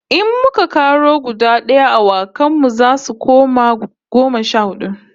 In muka karo guda d'aya, awakan mu zasu koma goma sha hudu